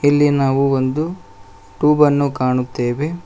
ಇಲ್ಲಿ ನಾವು ಒಂದು ಟ್ಯೂಬ್ ಅನ್ನು ಕಾಣುತ್ತೇವೆ.